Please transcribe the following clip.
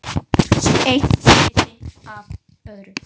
Eitt leiddi af öðru.